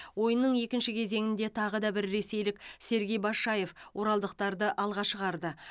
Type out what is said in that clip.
ойынның екінші кезеңінде тағы да бір ресейлік сергей башаев оралдықтарды алға шығарды